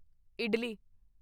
idli